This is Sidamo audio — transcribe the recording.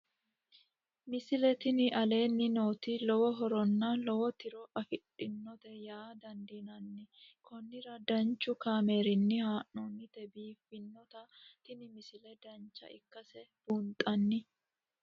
misile tini aleenni nooti lowo horonna lowo tiro afidhinote yaa dandiinanni konnira danchu kaameerinni haa'noonnite biiffannote tini misile dancha ikkase buunxanni